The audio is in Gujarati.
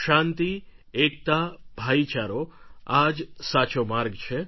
શાંતિ એકતા ભાઈચારો આ જ સાચો માર્ગ છે